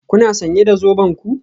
Kuna sanye da zoben ku?